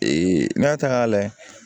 n'i y'a ta k'a layɛ